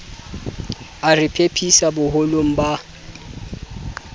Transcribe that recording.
a re phephisa boholong ba